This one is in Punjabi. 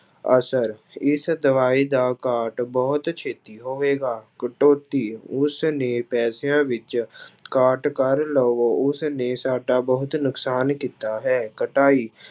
ਅਸਰ ਇਸ ਦਵਾਈ ਦਾ ਕਾਟ ਬਹੁਤ ਛੇਤੀ ਹੋਵੇਗਾ, ਕਟੌਤੀ ਉਸਨੇ ਪੈਸਿਆਂ ਵਿੱਚ ਕਾਟ ਕਰ ਲਵੋ ਉਸਨੇ ਸਾਡਾ ਬਹੁਤ ਨੁਕਸਾਨ ਕੀਤਾ ਹੈ, ਕਟਾਈ